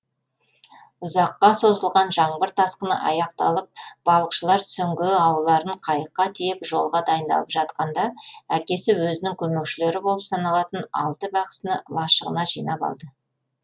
ұзаққа созылған жаңбыр тасқыны аяқталып балықшылар сүңгі ауларын қайыққа тиеп жолға дайындалып жатқанда әкесі өзінің көмекшілері болып саналатын алты бақсыны лашығына жинап алды